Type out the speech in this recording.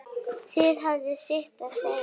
Það hafði sitt að segja.